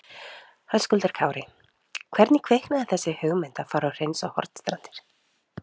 Höskuldur Kári: Hvernig kviknaði þessi hugmynd að fara og hreinsa Hornstrandir?